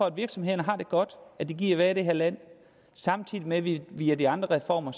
at virksomhederne har det godt at de gider i det her land samtidig med at vi via de andre reformer